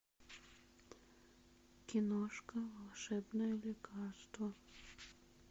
киношка волшебное лекарство